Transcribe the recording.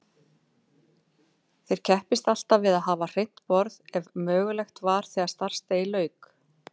Ég kepptist alltaf við að hafa hreint borð ef mögulegt var þegar starfsdegi lauk.